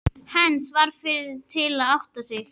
Heinz varð fyrri til að átta sig.